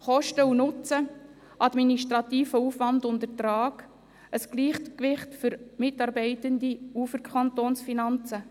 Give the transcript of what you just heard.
Kosten und Nutzen, administrativer Aufwand und Ertrag, ein Gleichgewicht für Mitarbeitende und für die Kantonsfinanzen: